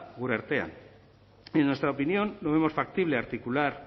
gure artean en nuestra opinión no vemos factible articular